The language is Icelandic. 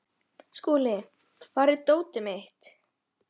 Skúli, hvar er dótið mitt?